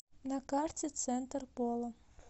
на карте центр пола